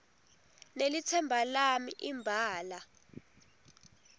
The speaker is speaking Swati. nelitsemba lami imbala